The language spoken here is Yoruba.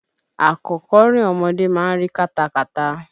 Àkọ́kọ́rìn ọmọdé ma ń ri kátakàta.